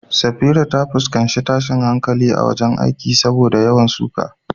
Safira ta fuskanci tashin hankali a wurin aiki saboda yawan suka.